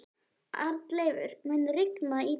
Arnleifur, mun rigna í dag?